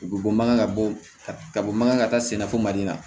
U bɛ bɔ mankan ka bɔ ka bɔ mankan ka taa sennafo mali la